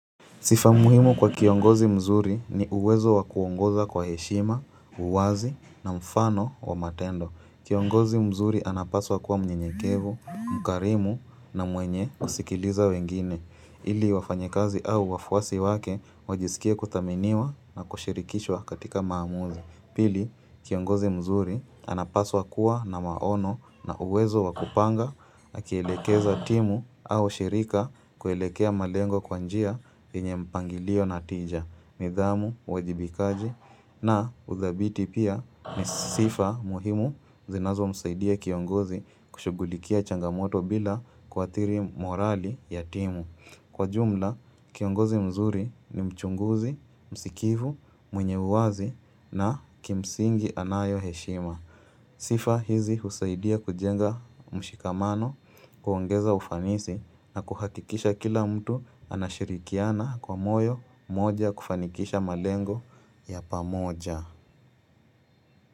Sifa muhimu kwa kiongozi mzuri ni uwezo wakuongoza kwa heshima, uwazi na mfano wa matendo. Kiongozi mzuri anapaswa kuwa mnyenyekevu, mkarimu na mwenye kusikiliza wengine. Ili wafanyakazi au wafuasi wake, wajisikia kuthaminiwa na kushirikishwa katika maamuzi. Pili, kiongozi mzuri anapaswa kuwa na maono na uwezo wakupanga akielekeza timu au shirika kuelekea malengo kwa njia yenye mpangilio na tija, nidhamu, uwajibikaji na ushabiti pia ni sifa muhimu zinazomsaidia kiongozi kushughulikia changamoto bila kuathiri morali ya timu Kwa jumla, kiongozi mzuri ni mchunguzi, msikivu, mwenye uwazi na kimsingi anayo heshima. Sifa hizi husaidia kujenga mshikamano, kuongeza ufanisi na kuhakikisha kila mtu anashirikiana kwa moyo moja kufanikisha malengo ya pamoja.